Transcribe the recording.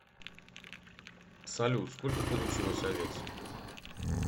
салют сколько получилось овец